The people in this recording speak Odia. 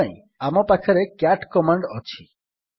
ଏଥିପାଇଁ ଆମ ପାଖରେ କ୍ୟାଟ୍ କମାଣ୍ଡ୍ ଅଛି